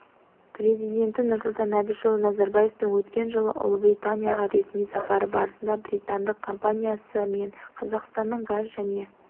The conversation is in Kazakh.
президенті нұрсұлтан әбішұлы назарбаевтың өткен жылы ұлыбританияға ресми сапары барысында британдық компаниясы мен қазақстанның газ және